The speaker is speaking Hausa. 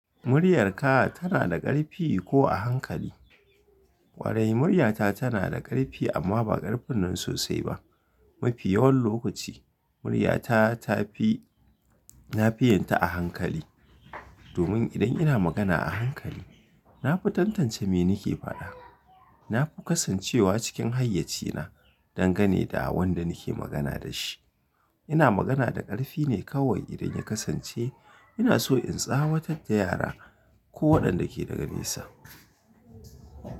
Muryarka tana da ƙarfi ko a hankali? Ƙwarai muryata tana da ƙarfi amma ba ƙarfin nan sosai ba. Mafi yawan lokaci muryata tafi lafiyinta a hankali. Domin idan ina magana a hankali, na fi tantance me nake faɗa. Na fi kasancewa cikin hayyacina dangane da wanda nake magana da shi. Ina magana da ƙarfi ne kawai idan ya kasance ina so in tsawatar da yara ko waɗanda ke daga nesa.